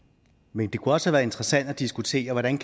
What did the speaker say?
men det kunne også have været interessant at diskutere hvordan